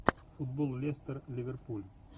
футбол лестер ливерпуль